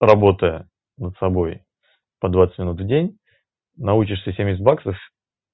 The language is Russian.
по работая над собой по двадцать минут в день на учишься семьдесят баксов